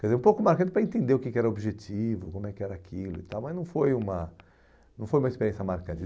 Quer dizer, um pouco marcante para entender o que que era o objetivo, como era aquilo e tal, mas não foi uma não foi uma experiência marcante.